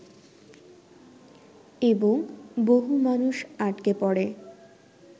এবং বহু মানুষ আটকে পড়ে